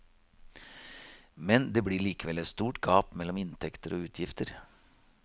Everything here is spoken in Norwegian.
Men det blir likevel et stort gap mellom inntekter og utgifter.